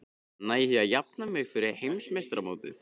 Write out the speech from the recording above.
Næ ég að jafna mig fyrir heimsmeistaramótið?